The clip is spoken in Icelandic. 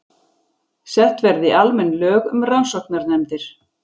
Sett verði almenn lög um rannsóknarnefndir